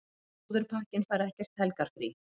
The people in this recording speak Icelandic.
Slúðurpakkinn fær ekkert helgarfrí.